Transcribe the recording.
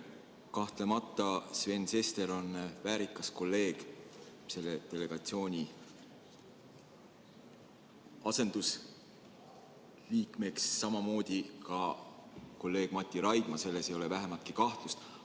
Kahtlemata on Sven Sester väärikas kolleeg selle delegatsiooni asendusliikmeks, samamoodi kolleeg Mati Raidma, selles ei ole vähimatki kahtlust.